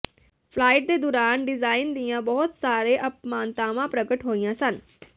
flight ਦੇ ਦੌਰਾਨ design ਦੀਆਂ ਬਹੁਤ ਸਾਰੇ ਅਪਮਾਨਤਾਵਾਂ ਪ੍ਰਗਟ ਹੋਈਆਂ ਸਨ